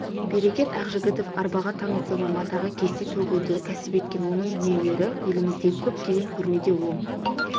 берекет ақжігітов арбаға таңылса да матаға кесте төгуді кәсіп еткен оның дүниелері еліміздегі көптеген көрмеде оң